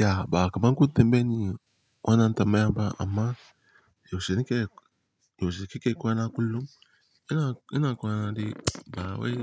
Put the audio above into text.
Ya, ba'a kaman ku tambaye ni, wannan tambayan ba amma yaushe kika yi kwana kullum? Ina kwana dai ba wai